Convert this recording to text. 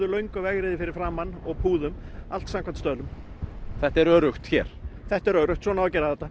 löngu vegriði fyrir framan og púðum allt samvkæmt stöðlum þetta er öruggt hér þetta er öruggt svona á að gera þetta